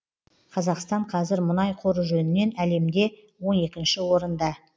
қазақстан қазір мұнай қоры жөнінен әлемде он екінші орында